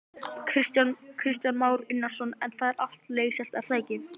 Kristján Már Unnarsson: En það er allt að leysast er það ekki?